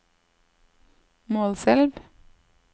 Målselv